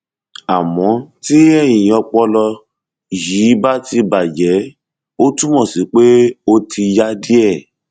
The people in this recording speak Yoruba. àmọ tí eyín ọpọlọ yìí bá ti bàjẹ ó túmọ sí pé pé ó ti ya díẹ